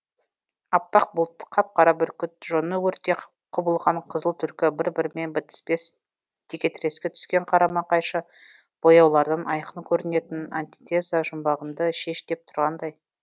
аппақ бұлт қап қара бүркіт жоны өрттей құбылған қызыл түлкі бір бірімен бітіспес текетіреске түскен қарама қайшы бояулардан айқын көрінетін антитеза жұмбағымды шеш деп тұрғандай